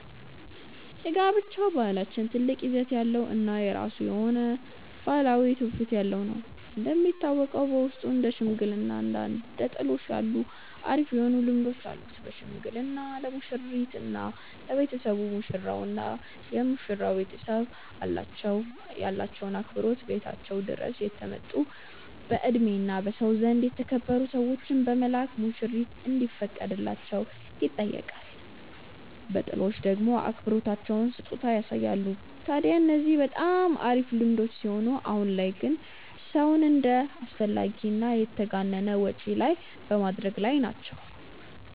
የጋብቻ ባህላችን ትልቅ ይዘት ያለው እና የራሱ የሆነ ባህላዊ ትውፊት ያለው ነው። እንደሚታወቀው በውስጡ እንደ ሽምግልና እና ጥሎሽ ያሉ አሪፍ የሆኑ ልምዶች አሉን። በሽምግልና ለሙሽሪት እና ለቤተሰቦች፤ ሙሽራው እና የመሽራው ቤተሰብ ያላቸውን አክብሮት ቤታቸው ድረስ የተመረጡ በእድሜ እና በሰው ዘንድ የተከበሩ ሰዎችን በመላክ ሙሽሪት እንዲፈቀድላቸው ይጠይቃሉ። በጥሎሽ ደሞ አክብሮታቸውን በስጦታ ያሳያሉ። ታድያ እነዚህ በጣም አሪፍ ልምዶች ሲሆኑ አሁን ላይ ግን ሰውን ወደ አላስፈላጊ እና የተጋነነ ወጪ ላይ በመደረግ ላይ ናቸው።